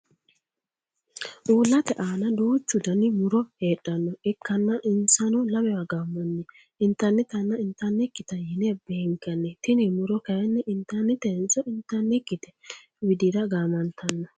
Uulate aanna duuchu Danni muro heedhano ikanna insano lamewa gaamanni intannitanna intanikita yine beenkanni tinni muro kayinni intannitenso intanikite widira gaammantanno?